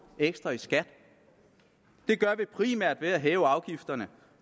ekstra i skat det gør vi primært ved at hæve afgifterne